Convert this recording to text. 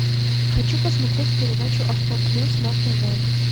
хочу посмотреть передачу авто плюс на тв